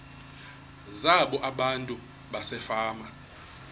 zabo abantu basefama